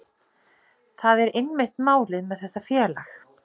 Það er einmitt málið með þetta félag.